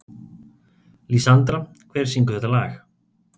Lísandra, hver syngur þetta lag?